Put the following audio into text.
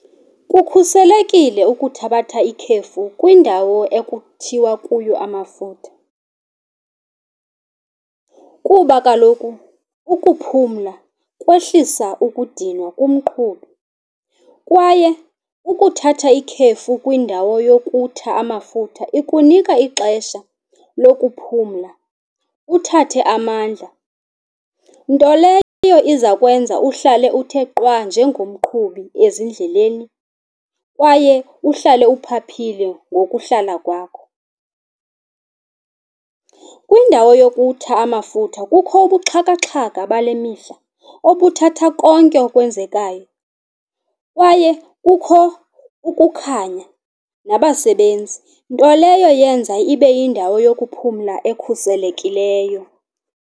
Kukhuselekilyo ukuthabatha ikhefu kwindawo ekuthiwa kuyo amafutha kuba kaloku ukuphumla kwehlisa ukudinwa kumqhubi. Kwaye ukuthatha ikhefu kwindawo yokutha amafutha ikunika ixesha lokuphumla, uthathe amandla. Nto leyo izakwenza uhlale uthe qwa nje ngomqhubi ezindleleni kwaye uhlale uphaphile ngokuhlala kwakho. Kwindawo yokutha amafutha kukho ubuxhakaxhaka bale mihla obuthatha konke okukwenzekayo kwaye kukho ukukhanya nabasebenzi, nto leyo yenza ibe yindawo yokuphumla ekhuselekileyo.